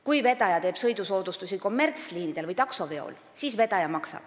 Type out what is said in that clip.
Kui vedaja teeb sõidusoodustusi kommertsliinidel või taksoveol, siis vedaja maksab.